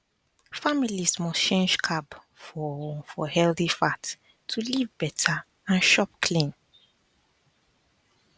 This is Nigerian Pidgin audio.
families must change carb for for healthy fat to live better and chop clean